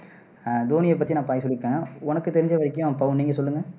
அஹ் தோனியை பத்தி நான் பாதி சொல்லிருக்கேன் உனக்கு தெரிஞ்ச வரையும் பவுன் நீங்க சொல்லுங்க